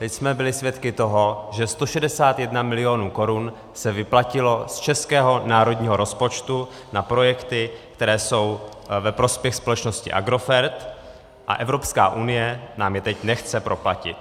Teď jsme byli svědky toho, že 161 milionů korun se vyplatilo z českého národního rozpočtu na projekty, které jsou ve prospěch společnosti Agrofert, a Evropská unie nám je teď nechce proplatit.